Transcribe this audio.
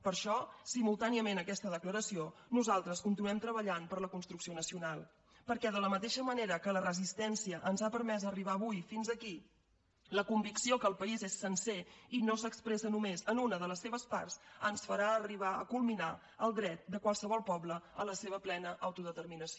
per això simultàniament a aquesta declaració nosaltres continuem treballant per la construcció nacional perquè de la mateixa manera que la resistència ens ha permès arribar avui fins aquí la convicció que el país és sencer i no s’expressa només en una de les seves parts ens farà arribar a culminar el dret de qualsevol poble a la seva plena autodeterminació